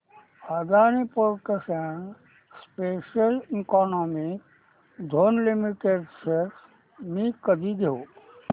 Adani ports and special economic zone limited shares मी कधी घेऊ